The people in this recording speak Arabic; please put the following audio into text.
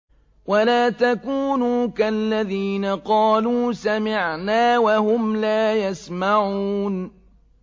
وَلَا تَكُونُوا كَالَّذِينَ قَالُوا سَمِعْنَا وَهُمْ لَا يَسْمَعُونَ